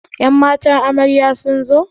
Ƴan matan amarya sunzo?